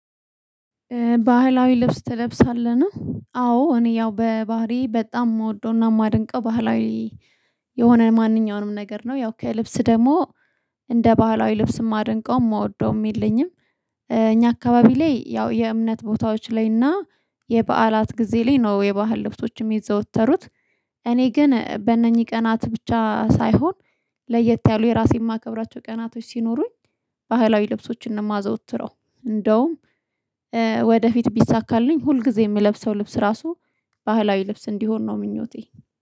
ባህላዊ ልብስ ትለብሳለህ? አዎ እኔ ያው በባህሪዬ በጣም የምወደውና የማደንቀው ባህላዊ የሆነ ማንኛውንም ነገር ነው። ያው ከልብስ ደግሞ እንደ ባህላዊ ልብስ የማደንቀው የምወደው የለኝም። እኛ አካባቢ ላይ ያው የእምነት ቦታዎች ላይና የበዓላት ጊዜ ላይ ነው የባህል ልብሶች የዘወተሩት። እኔ ግን በእነኚህ ቀናት ብቻ ሳይሆን ለየት ያሉ የራሴን የማከብራቸው ቀናቶች ሲኖሩኝ ባህላዊ ልብሶችን እንደማዘወትረው። እንደውም ወደፊት ቢሳካልኝ ሁል ጊዜ የምለብሰው ልብስ ራሱ ባህላዊ ልብስ እንዲሆን ነው ምኞቴ